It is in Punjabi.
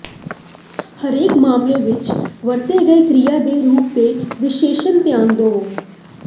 ਹਰੇਕ ਮਾਮਲੇ ਵਿਚ ਵਰਤੇ ਗਏ ਕ੍ਰਿਆ ਦੇ ਰੂਪ ਤੇ ਵਿਸ਼ੇਸ਼ ਧਿਆਨ ਦੇਵੋ